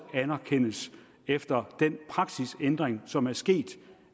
anerkendes efter den praksisændring som er sket